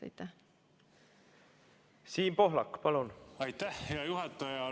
Aitäh, hea juhataja!